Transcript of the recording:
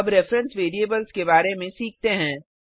अब reference variables के बारे में सीखते हैं